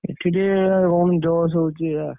ଏଠି ଟିକେ ଏଇଆ।